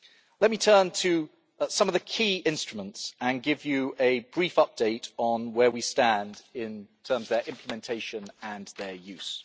Let me turn to some of the key instruments and give you a brief update on where we stand in terms of their implementation and their use.